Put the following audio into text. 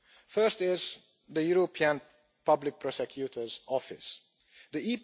First is the European Public Prosecutor's Office The